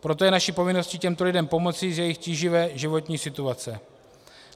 Proto je naší povinností těmto lidem pomoci z jejich tíživé životní situace.